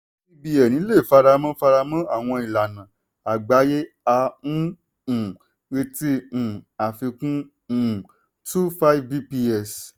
cbn lè faramọ́ faramọ́ àwọn ìlànà àgbáyé a ń um retí um àfikún um two five bps.